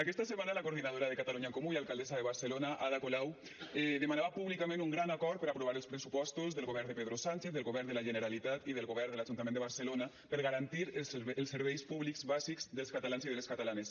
aquesta setmana la coordinadora de catalunya en comú i alcaldessa de barcelona ada colau demanava públicament un gran acord per aprovar els pressupostos del govern de pedro sánchez del govern de la generalitat i del govern de l’ajuntament de barcelona per garantir els serveis públics bàsics dels catalans i de les catalanes